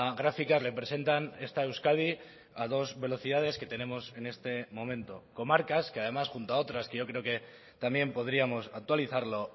gráfica representan esta euskadi a dos velocidades que tenemos en este momento comarcas que además junto a otras que yo creo que también podríamos actualizarlo